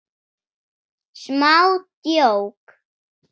Smá djók.